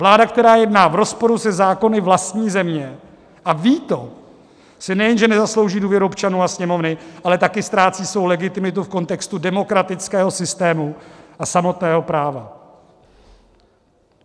Vláda, která jedná v rozporu se zákony vlastní země a ví to, si nejenže nezaslouží důvěru občanů a Sněmovny, ale taky ztrácí svou legitimitu v kontextu demokratického systému a samotného práva.